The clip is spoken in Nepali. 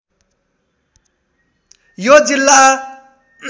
यो जिल्ला